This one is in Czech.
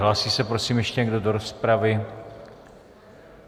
Hlásí se, prosím, ještě někdo do rozpravy?